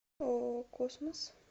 ооо космос